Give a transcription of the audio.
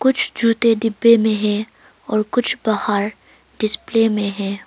कुछ जूते डिब्बे में है और कुछ बाहर डिस्पले में है।